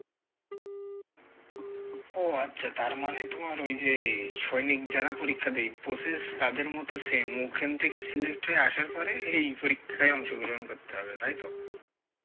ও আচ্ছা তার মানে তোমার ওই যে সৈনিক যারা পরীক্ষা ডি~ বসে তাদের same ওখান থেকে select হয়ে আসার পরে এই পরীক্ষা অংশগ্রহণ করতে হবে, তাই তো?